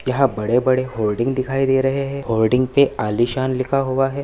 यहाँ बड़े बड़े होल्डिंग दिखाई दे रहे है होल्डिंग पे आलिशान लिखा हुआ है।